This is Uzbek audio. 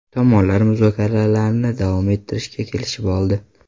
Tomonlar muzokaralarni davom ettirishga kelishib oldi.